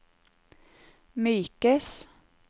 mykes